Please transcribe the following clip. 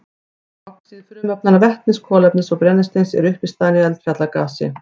Oxíð frumefnanna vetnis, kolefnis og brennisteins eru uppistaðan í eldfjallagasi.